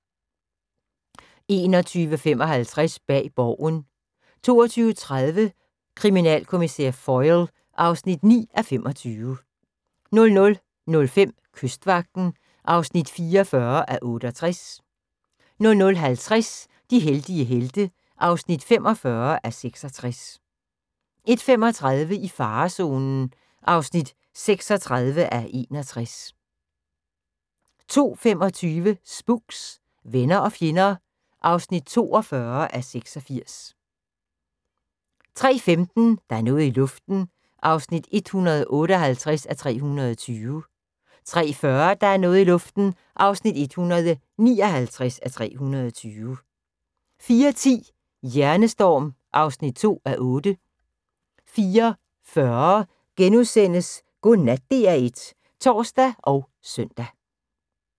21:55: Bag Borgen 22:30: Kriminalkommissær Foyle (9:25) 00:05: Kystvagten (44:68) 00:50: De heldige helte (45:66) 01:35: I farezonen (36:61) 02:25: Spooks: Venner og fjender (42:86) 03:15: Der er noget i luften (158:320) 03:40: Der er noget i luften (159:320) 04:10: Hjernestorm (2:8) 04:40: Godnat DR1 *(tor og søn)